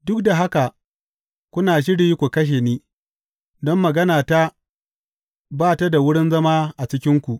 Duk da haka kuna shiri ku kashe ni, don maganata ba ta da wurin zama a cikinku.